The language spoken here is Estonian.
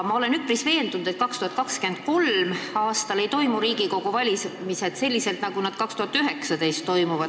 Ma olen veendunud, et 2023. aastal ei toimu Riigikogu valimised selliselt, nagu nad toimuvad aastal 2019.